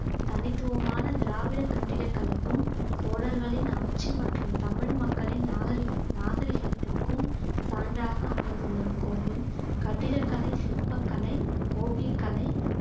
தனித்துவமான திராவிட கட்டிடக்கலைக்கும் சோழர்களின் ஆட்சி மற்றும் தமிழ் மக்களை நாகரிக்~ நாகரிகத்திற்கும் சான்றாக அமைந்துள்ள இக்கோவில் கட்டிடக்கலை சிற்பக்கலை ஓவியக்கலை